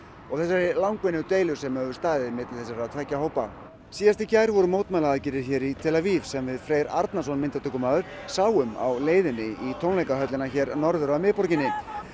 og þessari langvinnu deilu sem hefur staðið yfir milli þessara tveggja hópa síðast í gær voru mótmælaaðgerðir hér í tel Aviv sem við Freyr Arnarson myndatökumaður sáum á leiðinni í tónleikahöllina hér norður af miðborginni